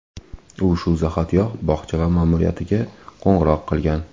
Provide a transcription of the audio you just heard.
U shu zahotiyoq bog‘cha ma’muriyatiga qo‘ng‘iroq qilgan.